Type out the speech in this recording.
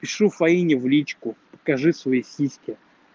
пишу фаине в личку покажи свои сиськи